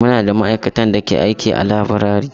Muna da ma'aikatan da ke aiki a laburare.